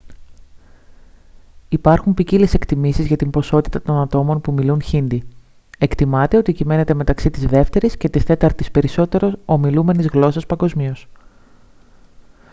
υπάρχουν ποικίλες εκτιμήσεις για την ποσότητα των ατόμων που μιλούν χίντι εκτιμάται ότι κυμαίνεται μεταξύ της δεύτερης και της τέταρτης περισσότερο ομιλούμενης γλώσσας παγκοσμίως